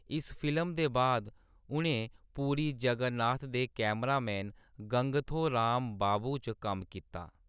इस फिल्म दे बाद उʼनें पुरी जगन्नाथ दे कैमरामैन गंगथो रामबाबू च कम्म कीता।